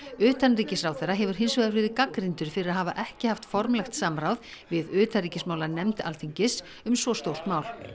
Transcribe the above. utanríkisráðherra hefur hins vegar verið gagnrýndur fyrir að hafa ekki haft formlegt samráð við utanríkismálanefnd Alþingis um svo stórt mál